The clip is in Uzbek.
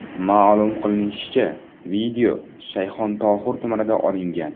Ma’lum qilinishicha, video Shayxontohur tumanida olingan.